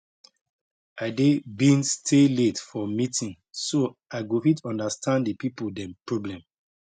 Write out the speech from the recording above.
i dey been stay late for meeting so i go fit understand the people dem problem